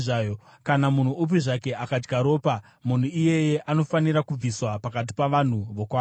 Kana munhu upi zvake akadya ropa, munhu iyeye anofanira kubviswa pakati pavanhu vokwake.’ ”